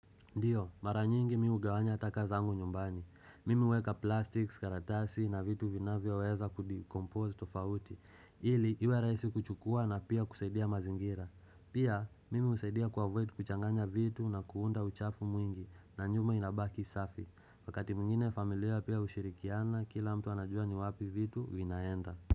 Ndiyo, mara nyingi miugawanya taka zangu nyumbani. Mimi weka plastics, karatasi na vitu vinavyo weza kudekompose tofauti, ili iwe raisi kuchukua na pia kuseidia mazingira. Pia, mimi usaidia kuavoid kuchanganya vitu na kuunda uchafu mwingi na nyuma inabaki safi. Wakati mwingine familia pia ushirikiana kila mtu anajua ni wapi vitu vinaenda.